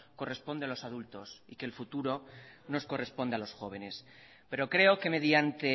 corresponde a los adultos y que el futuro nos corresponde a los jóvenes pero creo que mediante